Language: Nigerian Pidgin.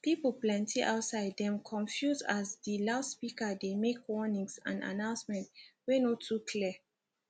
pipu plenty outside dem confuse as di loudspeaker dey make warnings and announcement wey no too clear